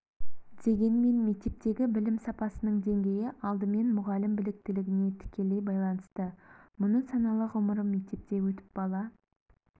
дегенмен мектептегі білім сапасының деңгейі алдымен мұғалім біліктілігіне тікелей байланысты мұны саналы ғұмырым мектепте өтіп бала